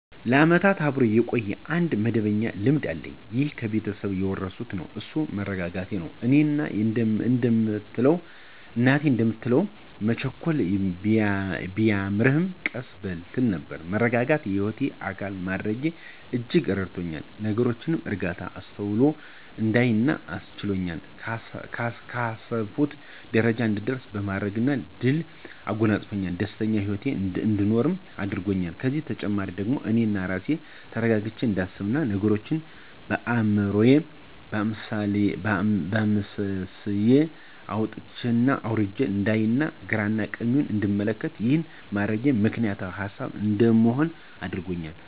ለዓመታት አብሮ የቆየ አንድ መደበኛ ልማድ አለኝ ይህም ከቤተሰብ የወረስኩት ነው እሱም መረጋጋትን ነው። እናቴ እንደምትለው መቸኮል ቢያምርህ ቀስ በል ትል ነበር። መረጋጋትን የህይወቴ አካል በማድረጌ በእጅጉ ረድቶኛል፤ ነገሮችን በእርጋታ፣ በአስተውሎት እንዳይ አስችሎኛል፣ ካሰብኩት ጀረጃ እንድደርስ በማድረግ ድልን አጎናጸፅፎኛል፣ ደስተኛ ሂወትን አንድኖር አድርጎኛል። ከዚህም በተጨማሪ ደግሞ አኔ በራሴ ተረጋግቸ እንዳስብ፥ ነገሮችን በአይምሮየ አምሰልስየና አውጠንጥኘ አውርጀ አንዳይ፥ ግራና ቀኙን እንድመለከት፣ ይህን በማድረጌ ምክንያታዊ ሀሳቢ እንድሆንም አድርጎኛል።